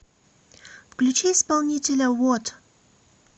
включи исполнителя вот